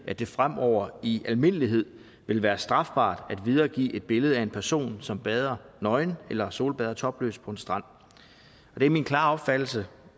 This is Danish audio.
at det fremover i almindelighed vil være strafbart at videregive et billede af en person som bader nøgen eller solbader topløs på en strand det er min klare opfattelse